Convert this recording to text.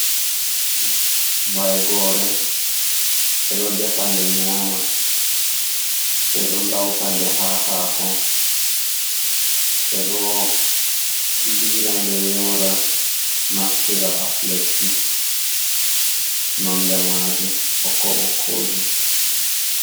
Vaigore ɓeɗo ɗefanɗe nyama. Ɓeɗo lauta nɗe ha hako. Ɓeɗo lira nɗe yora, naftira as lekki. Nonɗe majum ɓokko ɓokko jum.